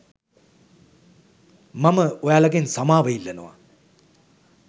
මම ඔයාලගෙන් සමාව ඉල්ලනවා